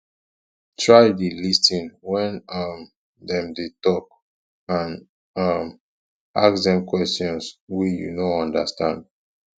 try de lis ten when um dem de talk and um ask dem questions wey you no understand